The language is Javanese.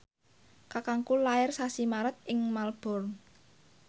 kakangku lair sasi Maret ing Melbourne